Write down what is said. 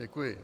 Děkuji.